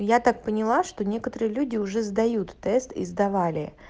я так поняла что некоторые люди уже сдают тест и сдавали